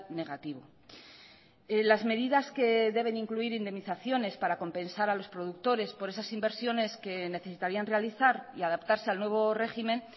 negativo las medidas que deben incluir indemnizaciones para compensar a los productores por esas inversiones que necesitarían realizar y adaptarse al nuevo régimen